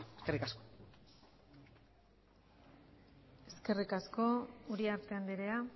eskerrik asko eskerrik asko uriarte andrea